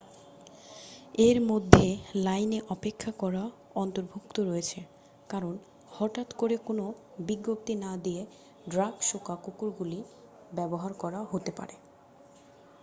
এর মধ্যে লাইনে অপেক্ষা করা অন্তর্ভুক্ত রয়েছে কারণ হঠাৎ করে কোনও বিজ্ঞপ্তি না দিয়ে ড্রাগ-শোঁকা কুকুরগুলি ব্যবহার করা হতে পারে